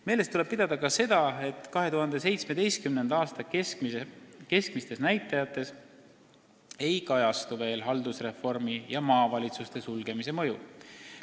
Meeles tuleb pidada ka seda, et 2017. aasta keskmistes näitajates ei kajastu veel haldusreformi ja maavalitsuste sulgemise mõju.